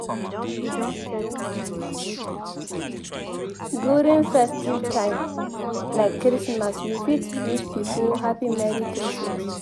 During festive time like christmas we fit wish pipo happy merry christmas